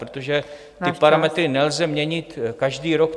... protože ty parametry nelze měnit každý rok.